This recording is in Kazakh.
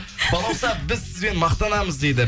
балауса біз сізбен мақтанамыз дейді